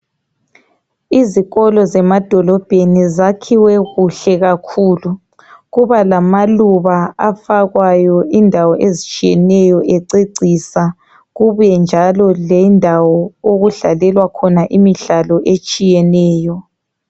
Izikolo zemadolobheni zakhiwe kuhle kakhulu kuba lamaluba afakwayo indawo ezitshiyeneyo ececisa kubuye njalo le ndawo okudlalelwa khona imidlalo etshiyeneyo.